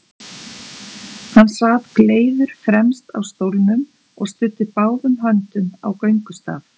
Hann sat gleiður fremst á stólnum og studdi báðum höndum á göngustaf.